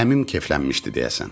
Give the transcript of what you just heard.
Əmim keflənmişdi deyəsən.